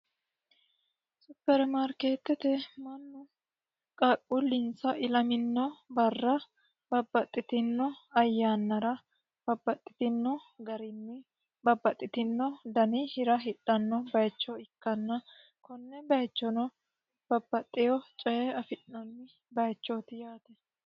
Supermaarketete mannu qaaqqulinsa ilamanno yannara babbaxitino ayyaannara babbaxitino dani hira hidhano bayiicho ikkitanna konne bayiichono babbaxitino dani hira afi'nanni yaate.